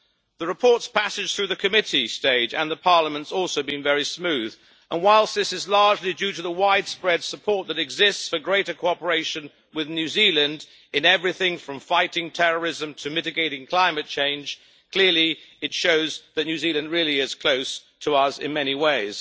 The report's passage through the committee stage and the Parliament has also been very smooth, and whilst this is largely due to the widespread support that exists for greater cooperation with New Zealand in everything from fighting terrorism to mitigating climate change, clearly it shows that New Zealand really is close to us in many ways.